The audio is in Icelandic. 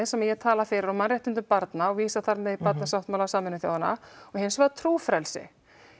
sem ég tala fyrir og mannréttindum barna og vísa þannig Barnasáttmála Sameinuðu þjóðanna og hins vegar trúfrelsi